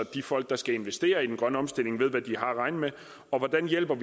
de folk der skal investere i den grønne omstilling ved hvad de at regne med og hvordan vi hjælper